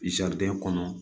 kɔnɔ